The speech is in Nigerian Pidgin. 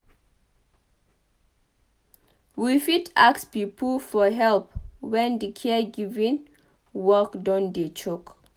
We fit ask pipo for help when di caregiving work don dey choke